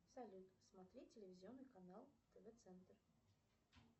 салют смотреть телевизионный канал тв центр